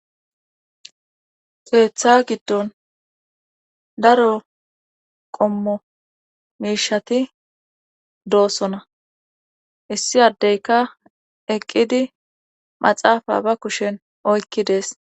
Keeththa giddon daro qommo miishati doosona issi addeyka eqqidi maxaafa ba kushen oykki dees.